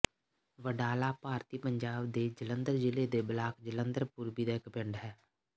ਵਡਾਲਾ ਭਾਰਤੀ ਪੰਜਾਬ ਦੇ ਜਲੰਧਰ ਜ਼ਿਲ੍ਹੇ ਦੇ ਬਲਾਕ ਜਲੰਧਰ ਪੂਰਬੀ ਦਾ ਇੱਕ ਪਿੰਡ ਹੈ